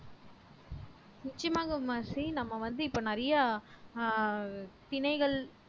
நிச்சயமாக மெர்சி நம்ம வந்து இப்ப நிறைய ஆஹ் தினைகள்